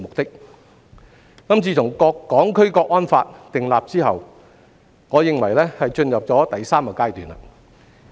自從訂立了《香港國安法》，我認為立法會的情況進入了第三個階段。